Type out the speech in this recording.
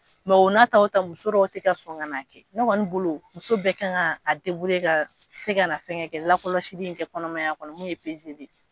o n'a ta o ta muso dɔw tɛ ka sɔn ka n'a ne kɛ ne kɔni bolo muso bɛɛ kan ka a ka se ka na fɛn kɛ lakɔlɔsili i ka kɔnɔmaya kɔnɔ min ye ye